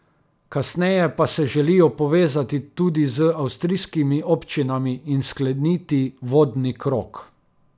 Kasneje pa se želijo povezati tudi z avstrijskimi občinami in skleniti vodni krog.